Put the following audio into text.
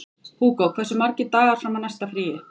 Húgó, hversu margir dagar fram að næsta fríi?